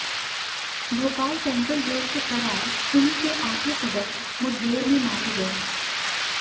Bhopal central jail से फरार सिमी के आठों सदस्य मुठभेड़ में मारे गए